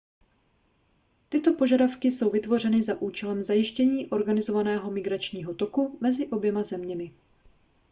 tyto požadavky jsou vytvořeny za účelem zajištění organizovaného migračního toku mezi oběma zeměmi